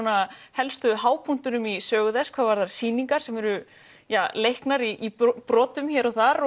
helstu í sögu þess hvað varðar sýningar sem eru leiknar í brotum hér og þar